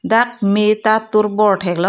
dak me ta tur bor thek long.